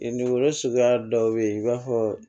Dugukolo suguya dɔw bɛ ye i b'a fɔ